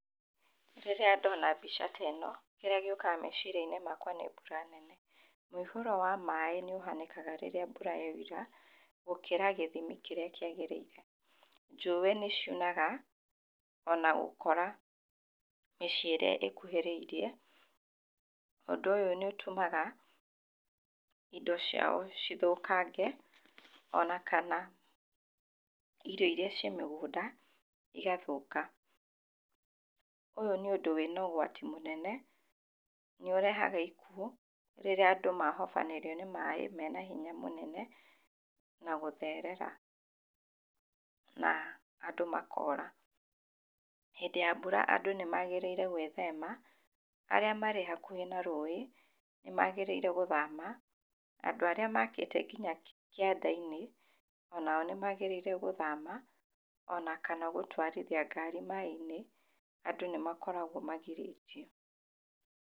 Rĩrĩa ndona mbica ta ĩno, kĩrĩa gĩũkaga meciria-inĩ makwa nĩ mbura nene. Mũihũro wa maaĩ nĩ ũhanĩkaga rĩrĩa mbura yoira, gũkĩra gĩthimi kĩrĩa kĩagĩrĩire. Njũĩ nĩ ciunaga, ona gũkora mĩciĩ ĩrĩa ĩkuhĩrĩirie. Ũndũ ũyũ nĩ ũtũmaga, indo ciao cithũkange, ona kana irio irĩa ciĩ mĩgũnda, igathũka. Ũyũ nĩ ũndũ wĩna ũgwati mũnene, nĩ ũrehaga ikuũ, rĩrĩa andũ mahobanĩrio nĩ maaĩ mena hinya mũnene, na gũtherera. Na andũ makora. Hĩndĩ ya mbura andũ nĩ magĩrĩire gwĩthema, arĩa marĩ hakuhĩ na rũĩ, nĩ magĩrĩire gũthama, andũ arĩa makĩte nginya kĩanda-inĩ, onao nĩ magĩrĩire gũthama, ona kana gũtwarithia ngari maaĩ-inĩ, andũ nĩ makoragwo magirĩtio.